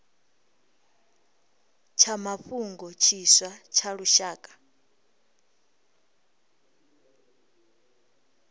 tsha mafhungo tshiswa tsha lushaka